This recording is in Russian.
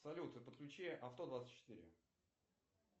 салют подключи авто двадцать четыре